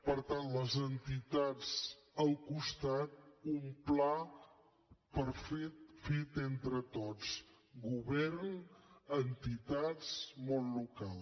per tant les entitats al costat un pla fet entre tots govern entitats i món local